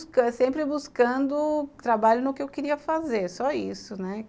sempre buscando trabalho no que eu queria fazer, só isso, né?